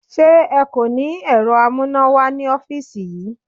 Ṣé ẹ kò ní ẹ̀rọ amúnáwá ní ọ́fíìsì yí?